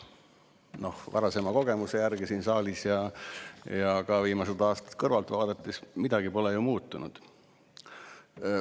Noh, lähtudes varasemast kogemusest siin saalis ja vaadanud viimased aastad kõrvalt, võib järeldada, et midagi pole muutunud.